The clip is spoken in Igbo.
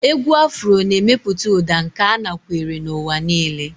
Égwù afro na-emepụta ụda nke anakwere n'ụwa niile.